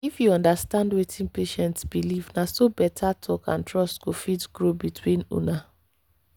if you understand wetin patient believe na so better talk and trust go fit grow between una.